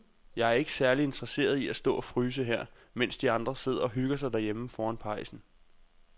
Jeg er ikke særlig interesseret i at stå og fryse her, mens de andre sidder og hygger sig derhjemme foran pejsen.